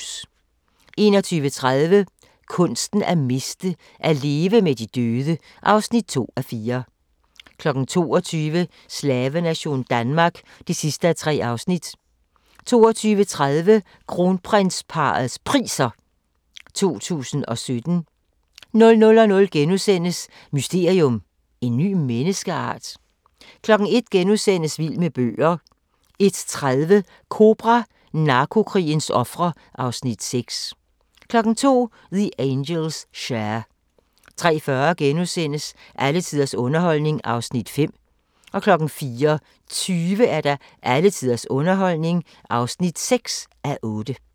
21:30: Kunsten at miste: At leve med de døde (2:4) 22:00: Slavenation Danmark (3:3) 22:30: Kronprinsparrets Priser 2017 00:00: Mysterium: En ny menneskeart? * 01:00: Vild med bøger * 01:30: Kobra – Narko-krigens ofre (Afs. 6) 02:00: The Angels' Share 03:40: Alle tiders underholdning (5:8)* 04:20: Alle tiders underholdning (6:8)